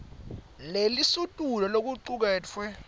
lelisetulu lokucuketfwe